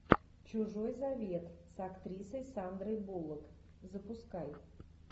чужой завет с актрисой сандрой буллок запускай